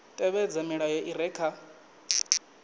tevhedza milayo i re kha